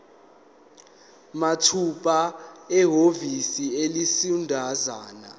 mathupha ehhovisi eliseduzane